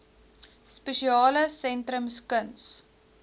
spesiale sentrums kuns